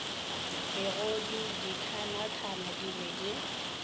megodu dikhanakhana di be di